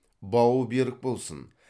бауы берік болсын